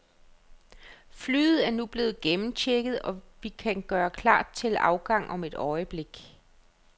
Flyet er nu blevet gennemchecket, og vi kan gøre klar til afgang om et øjeblik.